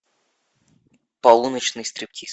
полуночный стриптиз